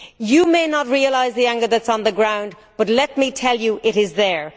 You may not realise the anger that is on the ground, but let me tell you it is there.